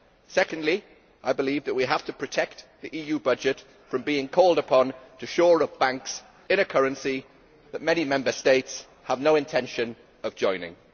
Secondly, I believe we have to protect the EU budget from being called upon to shore up banks in a currency that many Member States have no intention of joining.